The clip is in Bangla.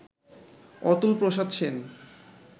অতুল প্রসাদ সেন